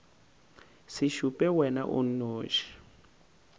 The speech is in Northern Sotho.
se šupe wena o nnoši